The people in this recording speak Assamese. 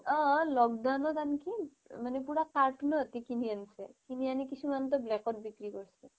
অ' lockdown ত আনকি মানে carton ত কিনি আনিছে কিনি আনি কিছুমানে টো black ত বিক্ৰী কৰিছে